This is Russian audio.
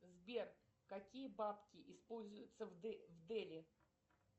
сбер какие бабки используются в дели